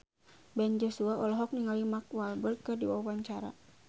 Ben Joshua olohok ningali Mark Walberg keur diwawancara